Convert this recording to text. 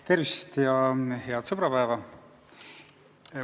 Tervist ja head sõbrapäeva!